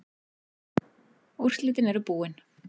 Úrslitin eru búin.